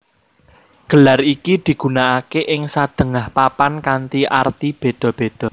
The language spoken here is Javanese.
Gelar iki digunakaké ing sadéngah papan kanthi arti béda béda